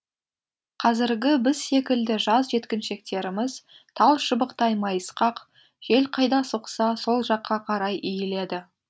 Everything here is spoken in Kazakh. қазіргі біз секілді жас жеткіншектеріміз тал шыбықтай майысқақ жел қайда соқса сол жаққа қарай иіледі